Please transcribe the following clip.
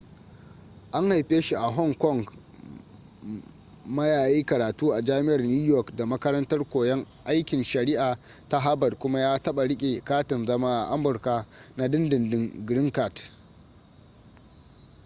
an haife shi a hong kong ma ya yi karatu a jami'ar new york da makarantar koyon aikin shari'a ta harvard kuma ya taɓa riƙe katin zama a amurka na dindindin green card